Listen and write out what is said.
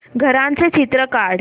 घराचं चित्र काढ